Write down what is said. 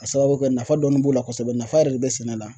Ka sababu kɛ nafa dɔɔni b'o la kosɛbɛ nafa yɛrɛ de be sɛnɛ la